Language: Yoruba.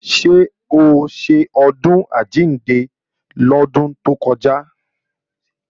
Ṣé o ṣe Ọdún Àjíǹde lọ́dún tó kọjá?